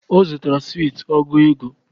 Ọ zutara sweet ọgụ ego